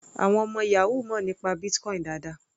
Àwọn ọmọ yahoo mọ̀ nípa Bitcoin dáadáa.